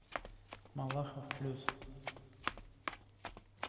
малахов плюс